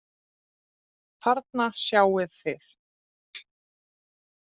Þarna sjáið þið.